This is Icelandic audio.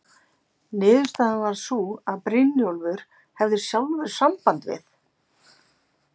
Niðurstaðan varð sú að Brynjólfur hefði sjálfur samband við